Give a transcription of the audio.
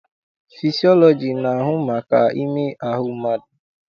Fịsịọlọji na-ahụ maka ime ahụ mmadụ.